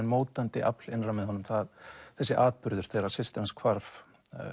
mótandi afl innra með honum þessi atburður þegar systir hans hvarf